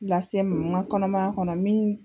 Lase n ma n ga kɔnɔmaya kɔnɔ min